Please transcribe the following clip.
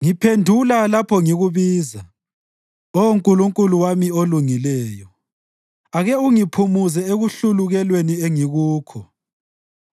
Ngiphendula lapho ngikubiza, Oh Nkulunkulu wami olungileyo. Ake ungiphumuze ekuhlulukelweni engikukho;